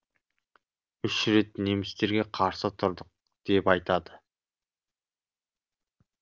үш рет немістерге қарсы тұрдық деп айтады